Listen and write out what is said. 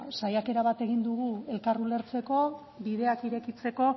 saiakera bat egin dugu elkar ulertzeko bideak irekitzeko